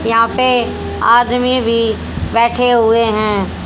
यहां पे आदमी भी बैठे हुए हैं।